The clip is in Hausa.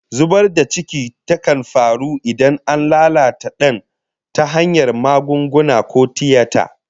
Zubar da ciki kan faru idan an lalata dan tayin ta hanyar magunguna ko tiyata